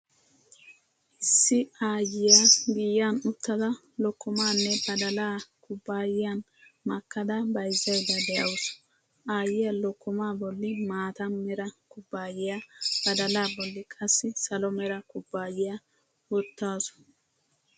Issi aayyiyaa giyan uttada lokkomaanne badalaa kubbaayiyan makkada bayzaydda de'awusu. Aayyiyaa lokkomaa bolli maata mera kubbaayiyaa, badalaa bolli qassi salo mera kubbaayiyaa wottaasu.